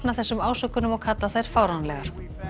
þessum ásökunum og kalla þær fáránlegar